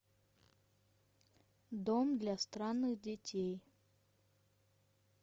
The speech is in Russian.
дом для странных детей